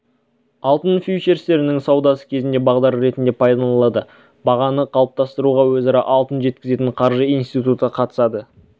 алтын фьючерстерінің саудасы кезінде бағдар ретінде пайдаланылады бағаны қалыптастыруға өзара алтын жеткізетін қаржы институты қатысады